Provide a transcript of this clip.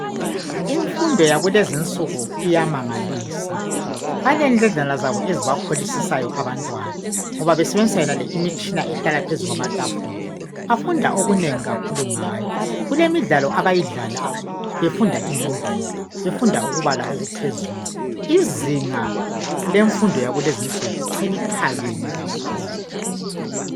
Imfundo yakulezinsuku iyamangalisa. Balendledlana zabo ezibakholisisayo abantwana ngoba besebenzisa yonale imitshina ehlala phezu kwamatafula. Bafunda okunengi kakhulu ngayo. Kulemidlalo abayidlalayo befunda inombolo befunda lokubala okuphezulu. Izinga lemfundo yakulezinsuku seliphakeme kakhulu.